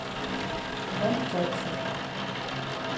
вантякшев